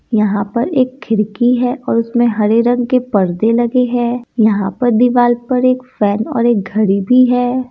यहां पर एक खिड़की है इसमें हरे रंग के परदे लगे है यहां पर दीवार पे एक फैन और एक घड़ी भी है।